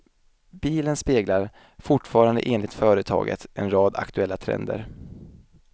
Bilen speglar, fortfarande enligt företaget, en rad aktuella trender.